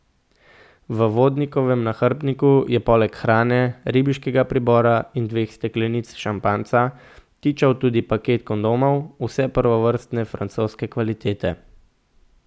V vodnikovem nahrbtniku je poleg hrane, ribiškega pribora in dveh steklenic šampanjca tičal tudi paket kondomov, vse prvovrstne francoske kvalitete.